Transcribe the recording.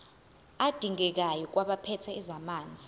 adingekayo kwabaphethe ezamanzi